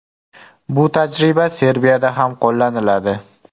Bu tajriba Serbiyada ham qo‘llaniladi.